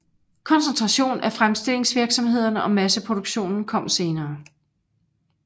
Koncentration af fremstillingsvirksomhederne og masseproduktionen kom senere